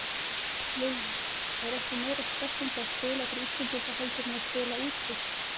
Lillý: Er eitthvað meira stressandi að spila fyrir Íslendinga heldur en að spila úti?